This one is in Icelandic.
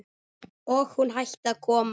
Og hún hætti að koma.